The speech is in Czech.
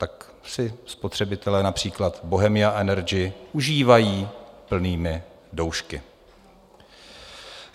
Tak si spotřebitelé například Bohemia Energy užívají plnými doušky.